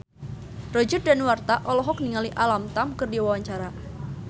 Roger Danuarta olohok ningali Alam Tam keur diwawancara